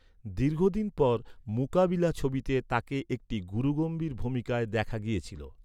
দীর্ঘদিন পর 'মুকাবিলা' ছবিতে তাঁকে একটি গুরুগম্ভীর ভূমিকায় দেখা গিয়েছিল।